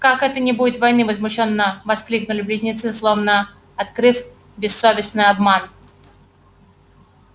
как это не будет войны возмущённо воскликнули близнецы словно открыв бессовестный обман